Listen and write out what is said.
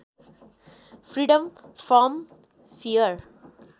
freedom from fear